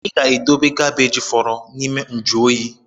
Ịga-edobe gabej fọrọ n’ime njuoyi?